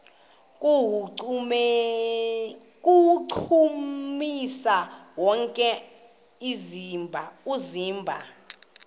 kuwuchukumisa wonke umzimba